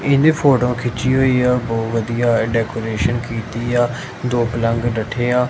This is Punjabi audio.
ਇਹਨੇ ਫੋਟੋਆਂ ਖਿੱਚੀ ਹੋਈ ਆ ਬਹੁਤ ਵਧੀਆ ਡੈਕੋਰੇਸ਼ਨ ਕੀਤੀ ਆ ਦੋ ਪਲੰਗ ਡੱਠੇ ਆ।